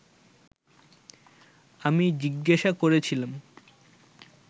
আমি জিজ্ঞাসা করেছিলাম